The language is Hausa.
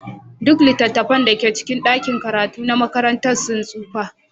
Duk littattafan da ke cikin ɗakin karatu na makaranta sun tsufa.